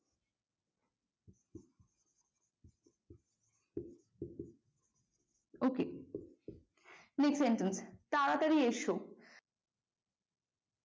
OK next sentence তাড়াতাড়ি এসো।